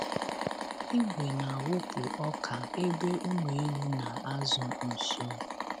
Igwe na-awụpụ ọka ebe ụmụ ewu na-azụ nso.